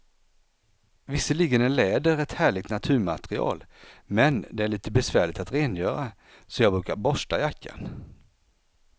Visserligen är läder ett härligt naturmaterial, men det är lite besvärligt att rengöra, så jag brukar borsta jackan.